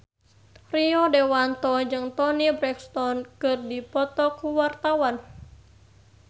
Rio Dewanto jeung Toni Brexton keur dipoto ku wartawan